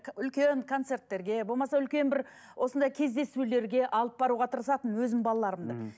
үлкен концерттерге болмаса үлкен бір осындай кездесулерге алып баруға тырысатынмын өзімнің балаларымды мхм